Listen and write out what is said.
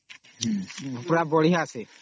ପୁରା ବଢିଆ ସେ